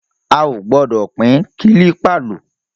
A ò gbọ́dọ̀ pín kílípà lò